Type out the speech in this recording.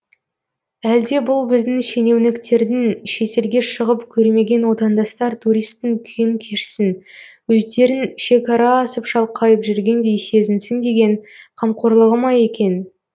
әлде бұл біздің шенеуніктердің шетелге шығып көрмеген отандастар туристтің күйін кешсін өздерін шекара асып шалқайып жүргендей сезінсін деген қамқорлығы ма екен